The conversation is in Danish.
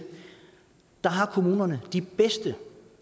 har kommunerne nu de bedste